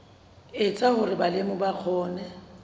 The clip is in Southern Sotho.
etsa hore balemi ba kgone